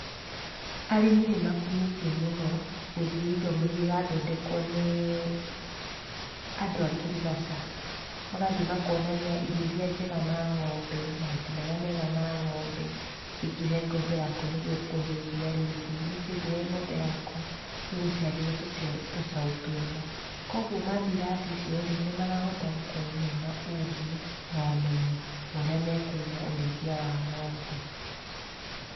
Arĩmi nĩ makumĩtie mũno gũthiĩ ithomo iria irathondekwo nĩ andũ a ngirigaca. Magathiĩ makonania irio iria njega na ng'ombe, mahuti marĩa mega na ng'ombe, nĩ kĩĩ ũngĩhe ng'ombe yaku nĩguo ĩkũhe iria rĩingĩ, nĩkĩĩ ũngĩhe ng'ombe yaku ĩgũciarĩre tũcaũ twega. Koguo mathiĩ irathi icio rĩ, nĩ marahota gũkorwo mena ũgĩ, na ũmenyo wa ũrĩa mekũiga ũrĩithia wa ng'ombe.